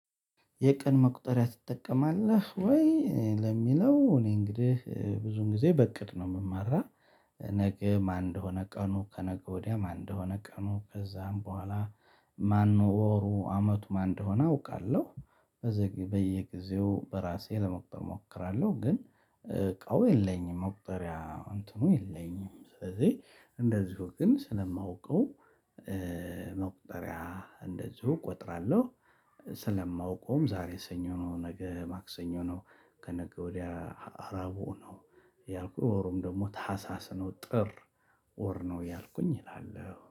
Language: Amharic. የቀን መቁጠርያ ትጠቀማለህ ወይ? ለሚለው እኔ እንግዲህ ብዙን ጊዘ በእቅድ ነው የምመራ። ነገ ማን እንደሆነ ቀኑ ከነገ ወድያ ማን እንደሆነ ቀኑ ከዛም በሁዋላ ማነው ወሩ አመቱ ማን እንደሆነ አውቃለሁ። በየጊዜው በራሴ ለመቁጠር እሞክራለሁ ግን እቃው የለኝም መቁጠርያ እንትኑ የለኝም ስለዚህ እንደዚሁ ግን ስለማውቀው መቁጠሪያ እንደዚሁ እቆጥራለሁ። ስለማውቀውም ዛሬ ስኞ ነው ነገ ማክሰኞ ነው። ከነገ ወድያ አርብ ነው። አያልኩ ወሩም ደግሞ ታህሳስ ነው ጥር ወር ነው እያልኩኝ እላለሁ